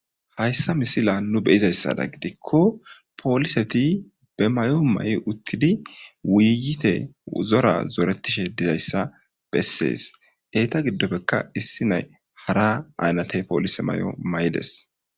hayssa misila nu beyizayssada gidikko pooliseti be may7o ma7i uttidi wuyite uzora zoretishe dizayssa bessees eeta giddopfekka issi nay hara aynatey poolise may7o may7ides